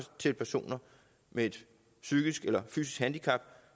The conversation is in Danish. til personer med et psykisk eller fysisk handicap